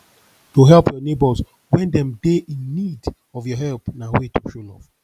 to help your neighbors when dem de in need of your help na way to show love